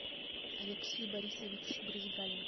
алексей борисович брызгалин